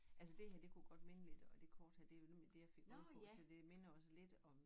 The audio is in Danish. Altså dét her det kunne godt minde lidt og det kort her det var nemlig det jeg fik øje på så det minder også lidt om